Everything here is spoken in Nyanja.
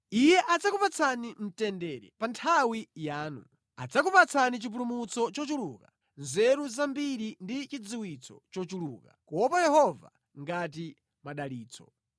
Iye adzakupatsani mtendere pa nthawi yanu, adzakupatsani chipulumutso chochuluka, nzeru zambiri ndi chidziwitso chochuluka; kuopa Yehova ngati madalitso.